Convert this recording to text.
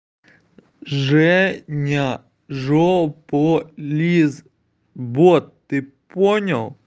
женя жополиз бот ты понял